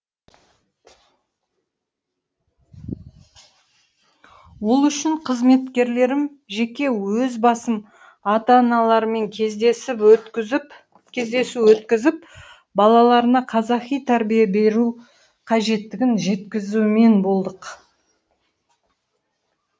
ол үшін қызметкерлерім жеке өз басым ата аналармен кездесу өткізіп балаларына қазақи тәрбие беру қажеттігін жеткізумен болдық